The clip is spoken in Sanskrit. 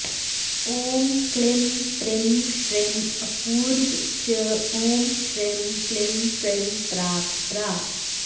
ॐ क्लीं प्रीं श्रीं अपूर्वा च ॐ श्रीं क्लीं प्रीं परात्परा